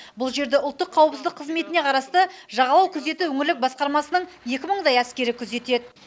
бұл жерді ұлттық қауіпсіздік қызметіне қарасты жағалау күзеті өңірлік басқармасының екі мыңдай әскері күзетеді